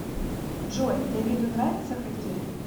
джой давиду нравится хоккей